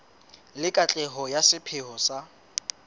le katleho ya sepheo sa